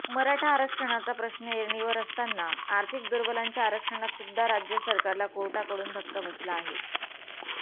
मराठा आरक्षणाचा प्रश्न ऐरणीवर असताना आर्थिक दुर्बलांच्या आरक्षणात सुद्दा राज्य सरकारला कोर्टाकडून धक्का बसला आहे